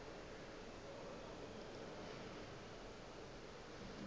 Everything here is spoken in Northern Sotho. re ge a šetše a